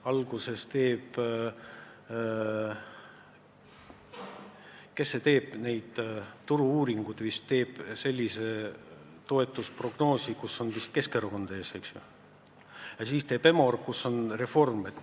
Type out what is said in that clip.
Alguses teeb prognoosi see, kes teeb neid turu-uuringuid ja kus on vist Keskerakond ees, ja siis teeb EMOR, kus on Reform.